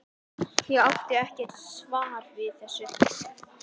Ég átti ekkert svar við þessu.